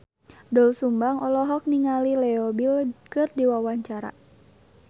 Doel Sumbang olohok ningali Leo Bill keur diwawancara